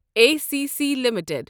A C C limited